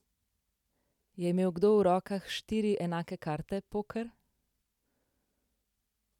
Je imel kdo v rokah štiri enake karte, poker?